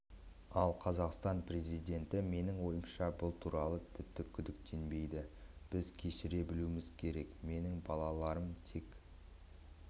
ал қазақстан президенті менің ойымша бұл туралы тіпті күдіктенбейді біз кешіре білуіміз керек менің балаларым тек